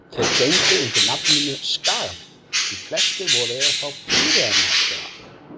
Þeir gengu undir nafninu Skagamenn því flestir voru þeir frá Pýreneaskaga.